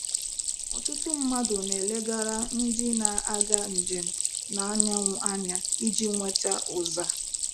Ọtụtụ mmadụ na-elegara ndị na-aga njem n'anyanwụ anya iji nweta ụza.